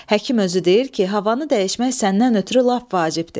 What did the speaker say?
Həkim özü deyir ki, havanı dəyişmək səndən ötrü lap vacibdir.